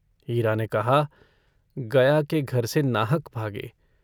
हीरा ने कहा - गया के घर से नाहक भागे।